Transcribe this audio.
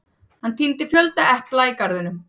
Hann tíndi fjölda epla í garðinum.